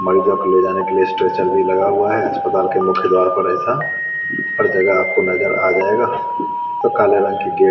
मरीजों को ले जाने के लिए स्ट्रेचर भी लगा हुआ है अस्पताल के मुख्य द्वार पर ऐसा हर जगह आपको नजर आ जाएगा काले रंग की गेट --